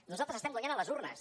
nosaltres estem guanyant a les urnes